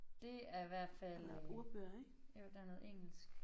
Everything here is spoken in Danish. Det er hvert fald øh jo der noget engelsk